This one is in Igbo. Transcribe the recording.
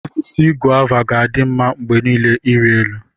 Osisi Gova ga-adị mma mgbe niile ịrị elu.